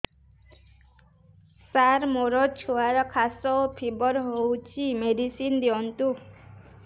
ସାର ମୋର ଛୁଆର ଖାସ ଓ ଫିବର ହଉଚି ମେଡିସିନ ଦିଅନ୍ତୁ